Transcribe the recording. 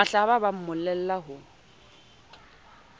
mahlaba ha ba mmolella ho